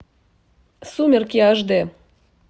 сумерки аш дэ